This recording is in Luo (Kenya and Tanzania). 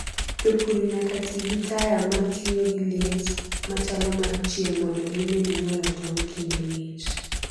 jopur nyak tii gi taya matiyogi liet machalo mar chieng mondo gimed nyuolo tong kinde ngich